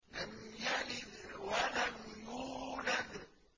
لَمْ يَلِدْ وَلَمْ يُولَدْ